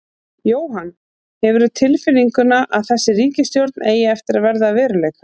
Jóhann: Hefurðu tilfinninguna að þessi ríkisstjórn eigi eftir að verða að veruleika?